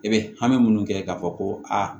I bɛ hami minnu kɛ k'a fɔ ko a